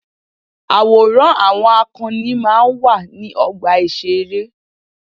Àwòrán àwọn akọni máa ń wà ní ọgbà ìṣeré.